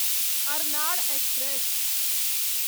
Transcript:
Arnad express